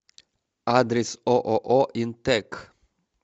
адрес ооо интэк